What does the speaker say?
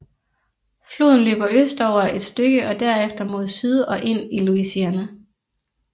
Floden løber østover et stykke og derefter mod syd og ind i Louisiana